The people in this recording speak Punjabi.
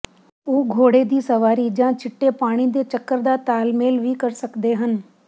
ਉਹ ਘੋੜੇ ਦੀ ਸਵਾਰੀ ਜਾਂ ਚਿੱਟੇ ਪਾਣੀ ਦੇ ਚੱਕਰ ਦਾ ਤਾਲਮੇਲ ਵੀ ਕਰ ਸਕਦੇ ਹਨ